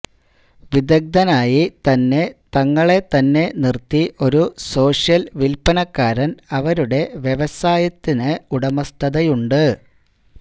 വിദഗ്ധനായി തന്നെ തങ്ങളെത്തന്നെ നിർത്തി ഒരു സോഷ്യൽ വിൽപ്പനക്കാരൻ അവരുടെ വ്യവസായത്തിന് ഉടമസ്ഥതയുണ്ട്